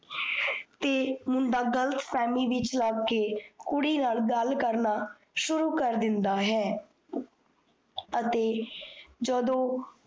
ਤੇ ਮੁੰਡਾ ਗਲੱਤਫਹਮੀ ਵਿੱਚ ਆਕੇ ਕੁੜੀ ਨਾਲ ਗੱਲ ਕਰਨਾ ਸ਼ੁਰੂ ਕਰ ਦਿੰਦਾ ਹੈ। ਅਤੇ ਜਦੋ